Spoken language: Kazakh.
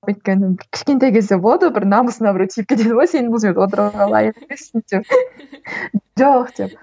өйткені бір кішкентай кезде болады ғой бір намысыңа біреу тиіп кетеді ғой сен бұл жерге отыруға лайық емессің деп жоқ деп